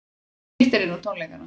Frítt er inn á tónleikana